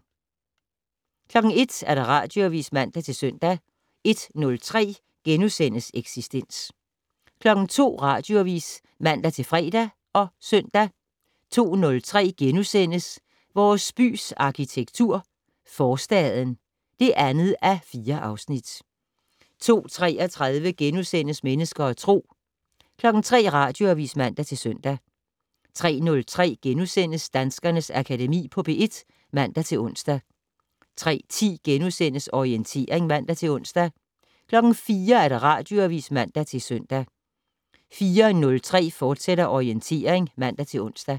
01:00: Radioavis (man-søn) 01:03: Eksistens * 02:00: Radioavis (man-fre og søn) 02:03: Vores bys arkitektur - Forstaden (2:4)* 02:33: Mennesker og Tro * 03:00: Radioavis (man-søn) 03:03: Danskernes Akademi på P1 *(man-ons) 03:10: Orientering *(man-ons) 04:00: Radioavis (man-søn) 04:03: Orientering, fortsat (man-ons)